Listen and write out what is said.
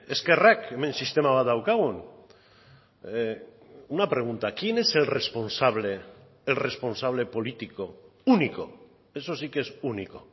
ezkerrak hemen sistema bat daukagun una pregunta quién es el responsable el responsable político único eso sí que es único